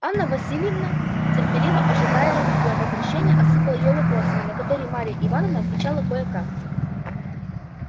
анна власьевна терпеливо ожидавшая её возвращения осыпала её вопросами на которые марья ивановна отвечала кое-как